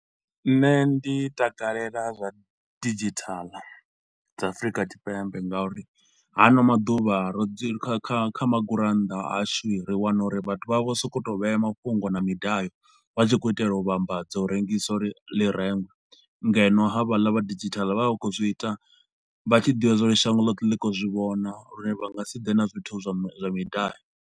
Nṋe ndi takalela zwa didzhithala dza Afrika Tshipembe ngauri ha ano maḓuvha ro zwi kha kha kha magurannda a shu ri wana uri vhathu vha vho sokou to vhea mafhungo na midayo. Vha tshi khou itela u vhambadza u rengisa uri ḽi rengwe. Ngeno havhaḽa vha didzhithala vha vha khou zwi ita vha tshi ḓivha zwa uri shango ḽothe ḽi khou zwi vhona lune vha nga si ḓe na zwithu zwa midayo.